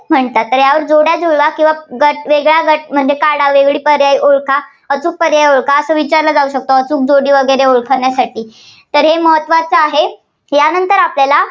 म्हणतात. तर यावर जोड्या जुळवा किंवा गट वेगळा गट काढावे, पर्याय ओळखा, अचूक पर्याय ओळखा असे विचारले जाऊ शकतं. अचूक जोडी ओळखण्यासाठी तर हे महत्त्वाचे आहे, यानंतर आपल्याला